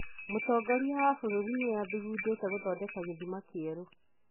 Mũtongoria wa bũrũri nĩ athugundĩte gũthondeka gĩthimama kĩerũ.